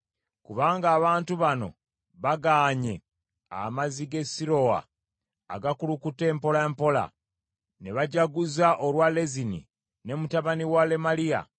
“Kubanga abantu bano bagaanye amazzi g’e Sirowa agakulukuta empolampola, ne bajaguza olwa Lezini ne mutabani wa Lemaliya,